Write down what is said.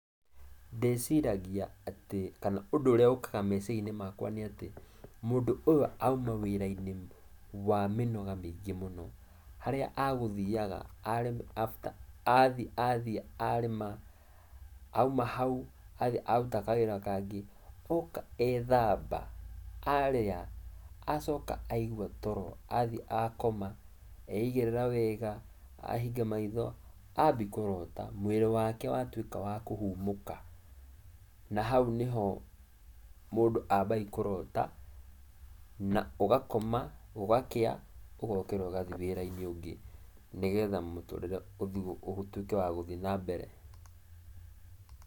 Ndĩciragia atĩ, kana ũndũ ũrĩa ũkaga meciria-inĩ makwa nĩ atĩ mũndũ ũyũ auma wĩra-inĩ wa mĩnoga mĩingĩ mũno, harĩa agũthiaga are after athiĩ athi arĩma, auma hau, athi aruta kawĩra kangĩ, oka ethamba, arĩa, acoka aigua toro, athi akoma, eigĩrĩra wega, ahinga maitho ambi kũrota mwĩrĩ wake watuĩka wa kũhũmũka na hau nĩho mũndũ ambagi kũrota, na ũgakoma, gũgakĩa, ũgokĩra ũgathiĩ wĩra-inĩ ũngĩ, nĩgetha mũtũrire ũtuĩke wa gũthiĩ nambere.